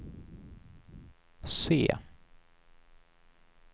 se